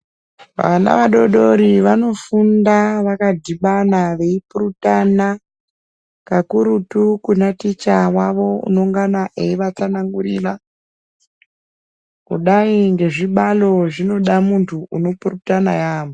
Vana vadodori vanofunda vakadhibana veipurutana, kakurutu kuna ticha wavo unongana eivatsanangurira. Kudai ngezvibalo zvinoda muntu unopurutana yaamho.